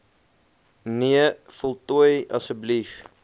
nee voltooi asb